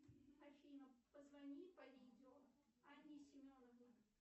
афина позвони по видео анне семеновой